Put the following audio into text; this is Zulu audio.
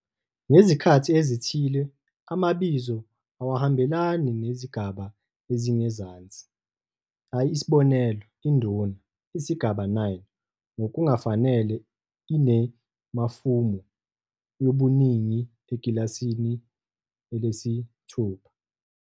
Ngezikhathi ezithile amabizo awahambelani nezigaba ezingezansi, isb. 'induna', isigaba 9, ngokungafanele ine- "mafumu" yobuningi ekilasini 6.